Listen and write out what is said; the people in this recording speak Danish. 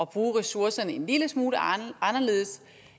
bruge ressourcerne en lille smule anderledes